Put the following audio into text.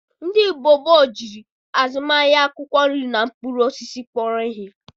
Ndị mgbe gboo jiri azụmahịa akwụkwọ nri na mkpụrụ osisi kpọrọ ihe.